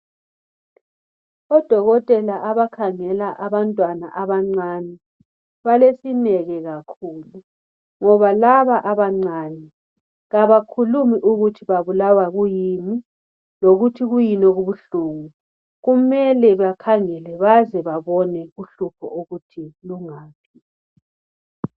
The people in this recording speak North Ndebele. ODokotela abakhangela abantwana abancane balesineke kakhulu ngoba laba abancane abakhulumi ukuthi babulawa kuyini lokuthi kuyini okubuhlungu. Kumele bakhangele baze babone ukuthi uhlupho lungaphi